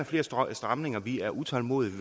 flere stramninger vi er utålmodige